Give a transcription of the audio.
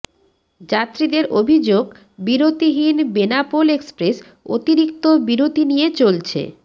যাত্রীদের অভিযোগ বিরতিহীন বেনাপোল এক্সপ্রেস অতিরিক্ত বিরতি নিয়ে চলছে